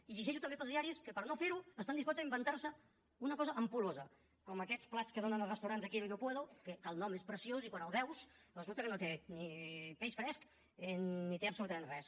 i llegeixo també pels diaris que per no fer ho estan disposats a inventar se una cosa ampul·losa com aquests plats que donen als restaurants de quiero y no puedo que el nom és preciós i quan els veus resulta que no tenen ni peix fresc ni tenen absolutament res